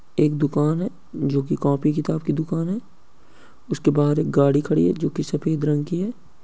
एक दुकान हैजो की कॉपी -किताब की दुकान है। उसके बाहर एक गाड़ी खड़ी है जो की सफ़ेद रंग की है।